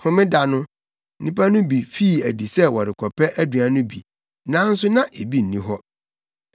Homeda no, nnipa no bi fii adi sɛ wɔrekɔpɛ aduan no bi, nanso na ebi nni hɔ.